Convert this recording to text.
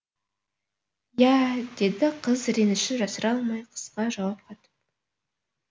иә деді қыз ренішін жасыра алмай қысқа жауап қатып